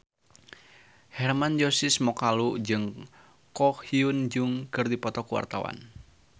Hermann Josis Mokalu jeung Ko Hyun Jung keur dipoto ku wartawan